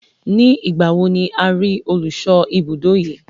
Ní ìgbà wo ni a rí olùṣọ́ ibùdó yí?